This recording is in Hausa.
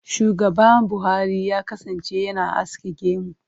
Shugaba Buhari ya kasance yana aske gemu.